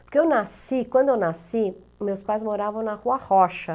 Porque eu nasci, quando eu nasci, meus pais moravam na Rua Rocha.